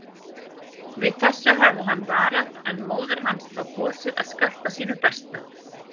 Við þessu hafði hann varað en móðir hans þá kosið að skarta sínu besta.